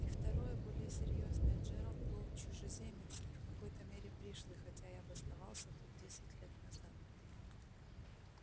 и второе более серьёзное джералд был чужеземец и в какой-то мере пришлый хотя и обосновался тут десять лет назад